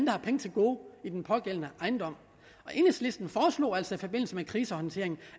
har penge til gode i den pågældende ejendom enhedslisten foreslog altså i forbindelse med krisehåndteringen